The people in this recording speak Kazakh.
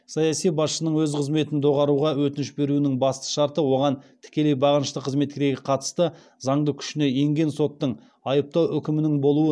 саяси басшының өз қызметін доғаруға өтініш беруінің басты шарты оған тікелей бағынышты қызметкерге қатысты заңды күшіне енген соттың айыптау үкімінің болуы